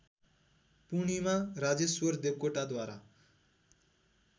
Purnima Rajeshwar देवकोटाद्वारा